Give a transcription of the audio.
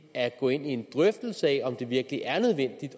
at gå ind i en drøftelse af om det virkelig er nødvendigt